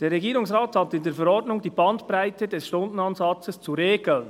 «Der Regierungsrat hat in der Verordnung die Bandbreite des Stundenansatzes zu regeln.